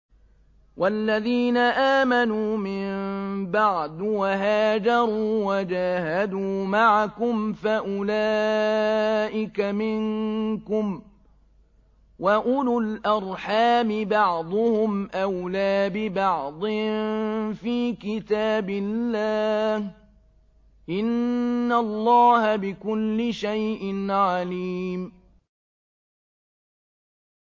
وَالَّذِينَ آمَنُوا مِن بَعْدُ وَهَاجَرُوا وَجَاهَدُوا مَعَكُمْ فَأُولَٰئِكَ مِنكُمْ ۚ وَأُولُو الْأَرْحَامِ بَعْضُهُمْ أَوْلَىٰ بِبَعْضٍ فِي كِتَابِ اللَّهِ ۗ إِنَّ اللَّهَ بِكُلِّ شَيْءٍ عَلِيمٌ